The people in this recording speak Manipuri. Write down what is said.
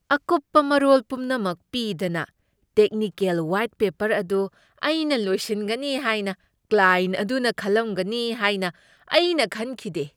ꯑꯀꯨꯞꯄ ꯃꯔꯣꯜ ꯄꯨꯝꯅꯃꯛ ꯄꯤꯗꯅ ꯇꯦꯛꯅꯤꯀꯦꯜ ꯋꯥꯏꯠ ꯄꯦꯄꯔ ꯑꯗꯨ ꯑꯩꯅ ꯂꯣꯏꯁꯤꯟꯒꯅꯤ ꯍꯥꯏꯅ ꯀ꯭ꯂꯥꯑꯦꯟꯠ ꯑꯗꯨꯅ ꯈꯜꯂꯝꯒꯅꯤ ꯍꯥꯏꯅ ꯑꯩꯅ ꯈꯪꯈꯤꯗꯦ꯫